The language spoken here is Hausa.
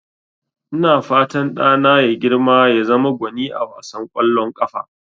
Ina fatan ɗana ya girma ya zama gwani a wasan ƙwallon ƙafa.